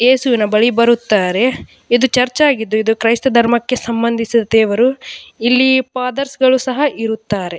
ಯೇಸುವಿನ ಬಳಿ ಬರುತ್ತಾರೆ. ಇದು ಚರ್ಚ್ ಆಗಿದ್ದು ಇದು ಕ್ರೈಸ್ತ ಧರ್ಮಕ್ಕೆ ಸಂಬಂದಿಸಿದ ದೇವರು ಇಲ್ಲಿ ಫಾದರ್ಸ್ ಗಳು ಸಹ ಇರುತ್ತಾರೆ --